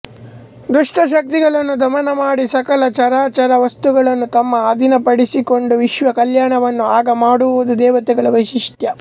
ದುಷ್ಟಶಕ್ತಿಗಳನ್ನು ದಮನ ಮಾಡಿ ಸಕಲ ಚರಾಚರವಸ್ತುಗಳನ್ನೂ ತಮ್ಮ ಅಧೀನಪಡಿಸಿಕೊಂಡು ವಿಶ್ವಕಲ್ಯಾಣವನ್ನು ಆಗಮಾಡುವುದು ದೇವತೆಗಳ ವೈಶಿಷ್ಟ್ಯ